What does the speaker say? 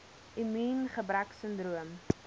immuungebreksindroom